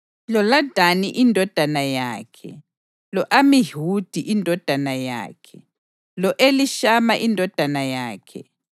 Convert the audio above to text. loLadani indodana yakhe, lo-Amihudi indodana yakhe, lo-Elishama indodana yakhe,